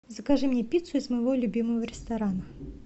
закажи мне пиццу из моего любимого ресторана